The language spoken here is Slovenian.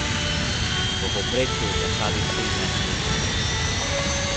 V povprečju na slabih štirinajst mesecev.